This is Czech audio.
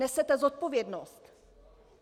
Nesete zodpovědnost!